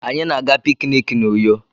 Anyị na-aga pikiniki n'Uyo.